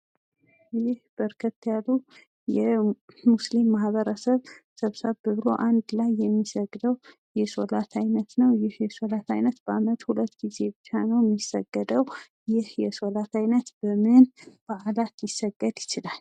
ይህ በርከት ያሉ የሙስሊም ማህበረሰብ ሰብሰብ ብሎ አንድ ላይ የሚሰግደው የሶላት አይነት ነው። ይህ የሶላት አይነት በአመት ሁለት ግዜ ብቻ ነው የሚሰገደው። ይህ የሶላት አይነት በምን ባህላት ሊሰገድ ይችላል?